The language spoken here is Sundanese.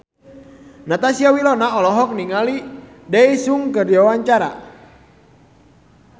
Natasha Wilona olohok ningali Daesung keur diwawancara